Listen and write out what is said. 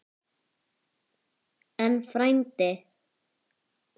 En, frændi